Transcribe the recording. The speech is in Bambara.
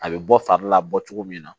A bɛ bɔ fari la bɔ cogo min na